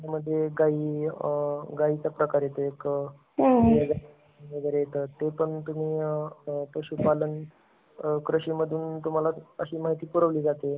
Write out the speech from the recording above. मग काही, गाई . गाईचा प्रकार येतो एक. वगैरे एक ते पण तुम्ही पशुपालन कृषी मध्ये तुम्हाला अशी माहिती पुरवली जाते.